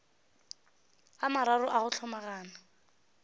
a mararo a go hlomagana